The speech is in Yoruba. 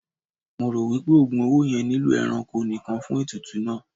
Mo ro wipe ogùn owó yẹn nilo ẹranko nìkàn fún ètùtù náà.